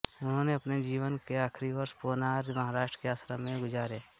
उन्होने अपने जीवन के आखरी वर्ष पोनार महाराष्ट्र के आश्रम में गुजारे